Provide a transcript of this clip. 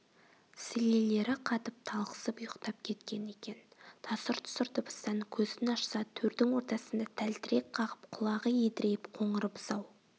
сілелері қатып талықсып ұйықтап кеткен екен тасыр-тұсыр дыбыстан көзін ашса төрдің ортасында тәлтірек қағып құлағы едірейіп қоңыр бұзау